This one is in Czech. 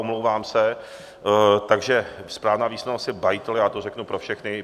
Omlouvám se, takže správná výslovnost je Bajtl, já to řeknu pro všechny.